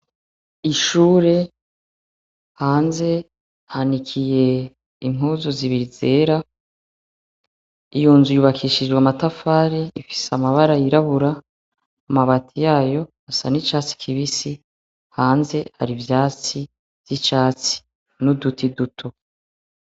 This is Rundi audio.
Ishure, hanze hanikiye impuzu zibiri zera. Iyo nzu yubakishijwe amatafari. Ifise amabara yirabura, amabati yayo asa n'icatsi kibisi, hanze hari ivyatsi vy'icatsi, n'uduti duto.